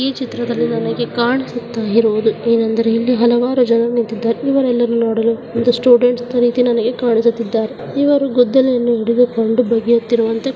ಈ ಚಿತ್ರದಲ್ಲಿ ನನಗೆ ಕಾಣಿಸುತ್ತ ಇರುವುದು ಏನಂದರೆ ಇಲ್ಲಿ ಹಲವಾರು ಜನರು ನಿಂತಿದ್ದಾರೆ ಇವರೆಲ್ಲರೂ ನೋಡಲು ಒಂದು ಸ್ಟೂಡೆಂಟ್ಸ್ ರೀತಿ ನಂಗೆ ಕಾಣಿಸುತ್ತಿದ್ದಾರೆ ಇವರು ಗುದ್ದಲಿ ಅನ್ನು ಹಿಡದುಕೊಂಡು ಬಗೆಯುತ್ತಿರುವುದು --